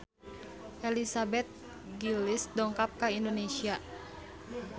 Elizabeth Gillies dongkap ka Indonesia